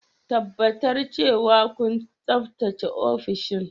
Tabbatar cewa kun tsaftace ofishin.